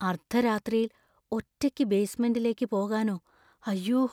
അർദ്ധരാത്രിയിൽ ഒറ്റയ്ക്ക് ബേസ്മെന്‍റിലേക്ക് പോകാനോ, അയ്യോ!